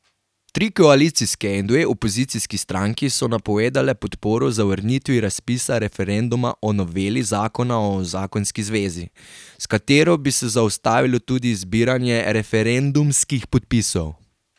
Tri koalicijske in dve opozicijski stranki so napovedale podporo zavrnitvi razpisa referenduma o noveli zakona o zakonski zvezi, s katero bi se zaustavilo tudi zbiranje referendumskih podpisov.